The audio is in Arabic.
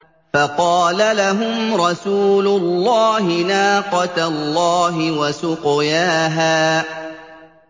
فَقَالَ لَهُمْ رَسُولُ اللَّهِ نَاقَةَ اللَّهِ وَسُقْيَاهَا